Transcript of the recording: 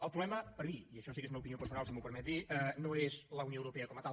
el problema per mi i això sí que és una opinió personal si m’ho permet dir no és la unió europea com a tal